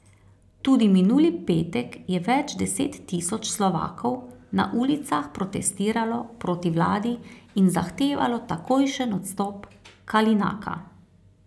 Tudi minuli petek je več deset tisoč Slovakov na ulicah protestiralo proti vladi in zahtevalo takojšen odstop Kalinaka.